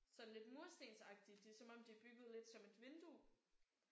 Sådan lidt murstensagtigt. Det er som om de er bygget lidt som et vindue